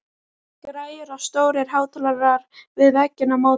Græjur og stórir hátalarar við vegginn á móti.